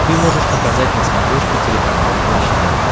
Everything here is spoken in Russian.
ты можешь показать на смотрешке телеканал наше тв